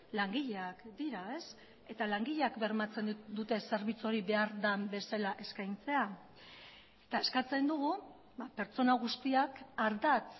langileak dira eta langileak bermatzen dute zerbitzu hori behar den bezala eskaintzea eta eskatzen dugu pertsona guztiak ardatz